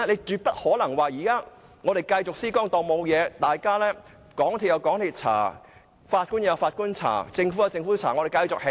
絕不可能說現時繼續施工，當沒事發生，港鐵公司、法官、政府各有各調查。